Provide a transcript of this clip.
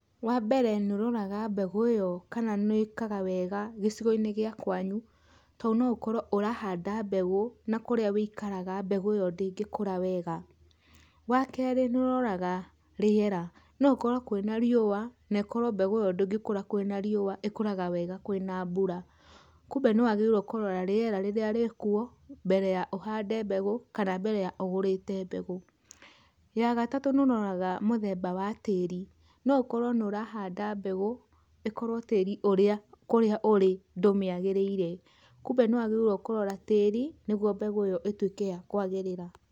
Wambere nĩ ũroraga mbegũ ĩyo kana nĩĩkaga wega gĩcigo-inĩ gĩa kwanyu, tondũ no ũkorwo ũrahanda mbegũ na kũrĩa wũikaraga mbegũ ĩyo ndĩngĩka wega. Wakerĩ nĩũroraga rĩera no ũkorwo kwĩna riũa nekorwo mbegũ ĩyo ndĩngĩkũra kwĩna riũa ĩkũraga wega kwĩna mbura, kumbe nĩwagĩrĩirwo kũrora rĩera rĩrĩa rĩkuo mbere ya ũhande mbegũ kana ũgũrĩte mbegũ. Ya gatatũ nĩũroraga mũthemba wa tĩri no ũkorwo nĩũrahanda mbegũ ĩkorwo tĩri ũrĩa kũrĩa ũrĩ ndũmĩagĩrĩire, kumbe nĩwagĩrĩirwo kũrora tĩri nĩguo mbegũ ĩyo ĩtuĩke ya kwagĩrĩra.